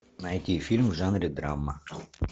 найди фильм в жанре драма